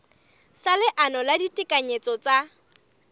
sa leano la ditekanyetso tsa